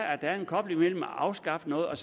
at der er en kobling mellem at afskaffe noget og